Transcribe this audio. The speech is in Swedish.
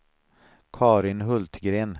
Carin Hultgren